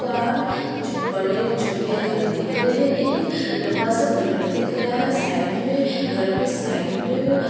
पार बड़े-छोटे घर दिख रहे हैं एक लंबा सा पिलर दिख रहा है साइड में घरों के साइड में --